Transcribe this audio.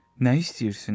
Nə istəyirsiniz?